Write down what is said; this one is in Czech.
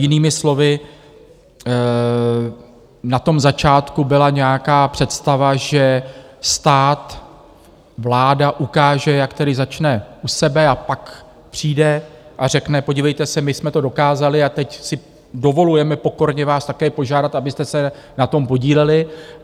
Jinými slovy, na tom začátku byla nějaká představa, že stát, vláda ukáže, jak tedy začne u sebe a pak přijde a řekne: Podívejte se, my jsme to dokázali a teď si dovolujeme pokorně vás také požádat, abyste se na tom podíleli.